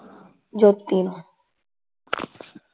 ਜੋਤੀ ਨੂੰ